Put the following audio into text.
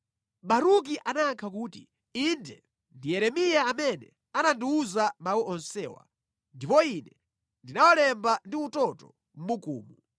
Baruki anayankha kuti, “Inde, ndi Yeremiya amene anandiwuza mawu onsewa, ndipo ine ndinawalemba ndi utoto mʼbukumu.”